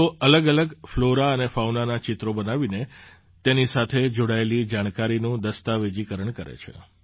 તેઓ અલગઅલગ ફ્લૉરા અને ફૉનાનાં ચિત્રો બનાવીને તેની સાથે જોડાયેલી જાણકારીનું દસ્તાવેજીકરણ કરે છે